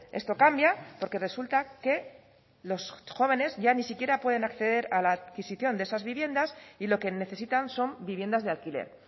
esto cambia porque resulta que los jóvenes ya ni siquiera pueden acceder a la adquisición de esas viviendas y lo que necesitan son viviendas de alquiler